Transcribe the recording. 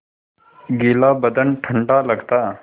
गीला बदन ठंडा लगता